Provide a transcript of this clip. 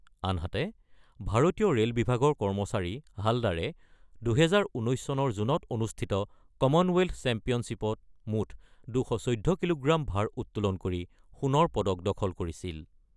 আনহাতে ভাৰতীয় ৰে'ল বিভাগৰ কৰ্মচাৰী হালদাৰে ২০১৯ চনৰ জুনত অনুষ্ঠিত কমনৱেল্থ চেম্পিয়নশ্বীপত মুঠ ২১৪ কিলোগ্ৰাম ভাৰ উত্তোলন কৰি সোণৰ পদক দখল কৰিছিল।